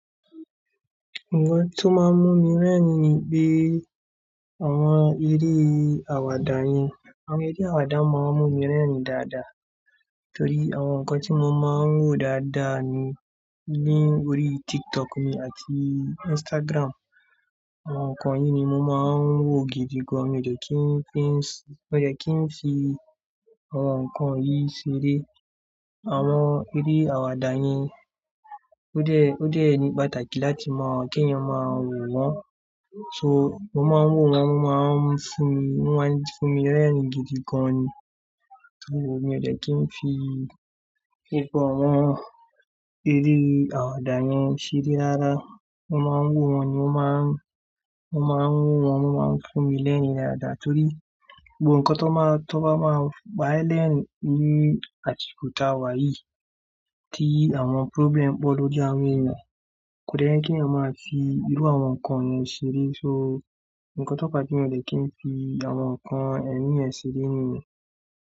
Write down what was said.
Àwọn nǹkan tó máa ń mú mi rẹ́rìn-ín ni pé àwọn eré àwàdà yẹn, àwọn eré àwàdà máa ń mú mi rẹ́rìn-ín dáadáa torí àwọn nǹkan tí mo máa ń wò dáadáa ni órí TikTok mi àti Instagram. Àwọn nǹkan yìí ni mo máa ń wò gidi gan. Mi ò de kí n fi, mi ò de kí n fi àwọn nǹkan yìí ṣeré. Àwọn eré àwàdà yẹn ó dẹ́, ó dẹ́ ní pàtàkì láti mọ keeyan mọ máa wò wọ́n. So mo máa ń wò wọ́n, wọ́n máa ń fún mi, wọ́n máa ń fún mi rẹ́rìn-ín gidi gan ni torí mi ò ṣe kí n fi gbogbo àwọn eré àwàdà yẹn ṣeré dáadáa. Mo máa ń wò wọ́n ni wọ́n máa ń, wọ́n máa ń wò wọ́n, wọ́n máa ń fún mi lẹ́rìn-ín dáadáa torí gbogbo nǹkan tó bá, tó bá máa pá e lẹ́rìn-ín nií àsiko ti a wá yii kí àwọn problem pọ̀ lójú àwọn ènìyàn, kò dẹ́ ye kí ẹni ọmọ máa fi irú àwọn nǹkan yẹn ṣeré. So nǹkan tó bá jẹ́ mi ò ṣe kí n fi àwọn nǹkan ẹ̀mí yẹn ṣeré nìyẹn.